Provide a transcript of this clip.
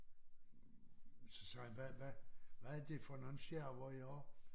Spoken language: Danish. Så sagde han hvad hvad hvad er det for nogle skærver i har?